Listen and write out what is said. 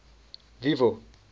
vivo